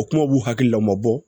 O kuma b'u hakililama bɔ